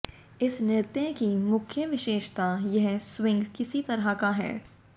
इस नृत्य की मुख्य विशेषता यह स्विंग किसी तरह का है